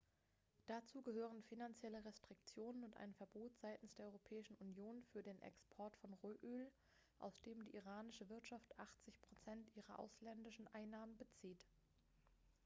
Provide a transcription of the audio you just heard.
dazu gehören finanzielle restriktionen und ein verbot seitens der europäischen union für den export von rohöl aus dem die iranische wirtschaft 80 % ihrer ausländischen einnahmen bezieht.x